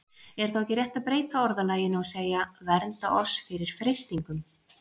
Er þá ekki rétt að breyta orðalaginu og segja: Vernda oss fyrir freistingum?